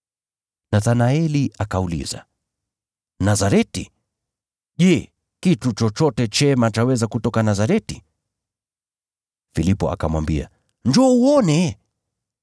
Nathanaeli akauliza, “Nazareti! Je, kitu chochote chema chaweza kutoka Nazareti?” Filipo akamwambia, “Njoo uone.”